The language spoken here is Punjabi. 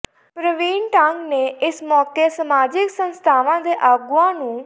ਪ੍ਰਵੀਨ ਡੰਗ ਨੇ ਇਸ ਮੌਕੇ ਸਮਾਜਿਕ ਸੰਸਥਾਵਾਂ ਦੇ ਆਗੂਆਂ ਨੂੰ